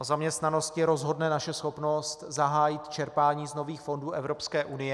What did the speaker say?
O zaměstnanosti rozhodne naše schopnost zahájit čerpání z nových fondů Evropské unie.